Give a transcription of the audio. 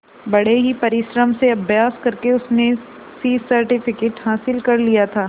बड़े ही परिश्रम से अभ्यास करके उसने सी सर्टिफिकेट हासिल कर लिया था